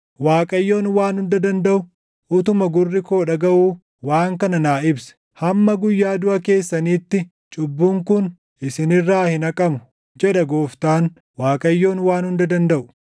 Waaqayyoon Waan Hunda Dandaʼu utuma gurri koo dhagaʼuu waan kana naa ibse: “Hamma guyyaa duʼa keessaniitti cubbuun kun isin irraa hin haqamu” jedha Gooftaan, Waaqayyoon Waan Hunda Dandaʼu.